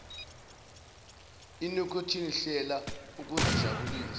inikhothini hlela ukuzijabulisa